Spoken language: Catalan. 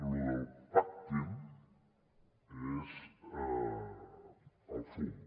lo del pactin és el fum